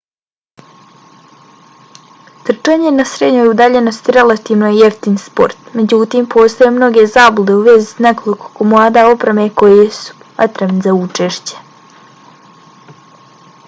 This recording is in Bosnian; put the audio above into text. trčanje na srednjoj udaljenosti relativno je jeftin sport. međutim postoje mnoge zablude u vezi s nekoliko komada opreme koji su potrebni za učešće